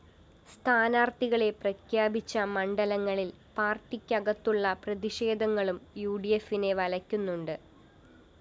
സ്ഥാനാര്‍ത്ഥികളെ പ്രഖ്യാപിച്ച മണ്ഡലങ്ങളില്‍ പാര്‍ട്ടിക്കകത്തുള്ള പ്രതിഷേധങ്ങളും യുഡിഎഫിനെ വലക്കുന്നുണ്ട്